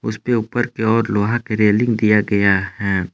उसपे ऊपर की ओर लोहा की रेलिंग किया गया है।